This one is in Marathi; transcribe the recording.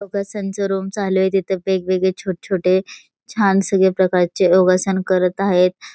योगासन च रूम चालू आहे तेथे वेगवेगळे छोट छोटे छान सगळे प्रकारचे योगासन करत आहेत.